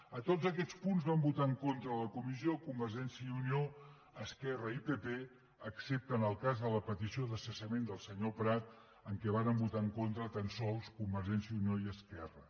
a tots aquests punts van votar en contra a la comissió convergència i unió esquerra i pp excepte en el cas de la petició de cessament del senyor prat en què varen votar en contra tan sols convergència i unió i esquerra